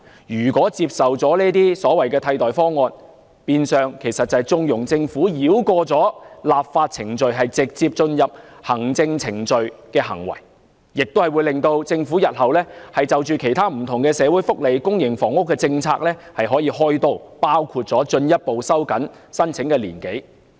如果接受了這些替代方案，變相等於縱容政府繞過立法程序，直接進入行政程序的行為，亦會促使政府日後向其他不同的社會福利和公營房屋政策"開刀"，包括進一步收緊申請年齡。